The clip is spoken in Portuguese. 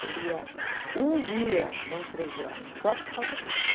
Seria um dia, não três horas, só para falar disso.